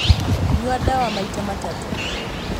Nyua ndawa maita matatũ